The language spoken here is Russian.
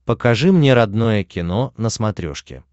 покажи мне родное кино на смотрешке